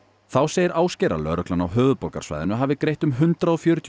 þá segir Ásgeir að lögreglan á höfuðborgarsvæðinu hafi greitt um hundrað og fjörutíu